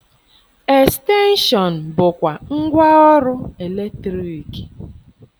Estenshọn bụkwa ngwa ọrụ eletriki.